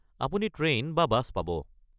আপুনি ট্ৰেইন বা বাছ পাব।